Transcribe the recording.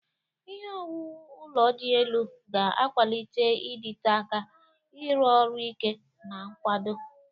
Ihe owuwu ụlọ dị elu ga-akwalite ịdịte aka, ịrụ ọrụ ike, na nkwado.